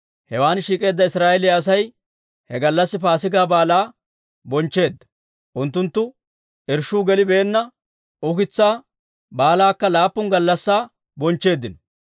Hewan shiik'eedda Israa'eeliyaa Asay he gallassi Paasigaa Baalaa bonchcheedda; unttunttu irshshuu gelibeenna ukitsaa Baalakka laappun gallassi bonchcheeddino.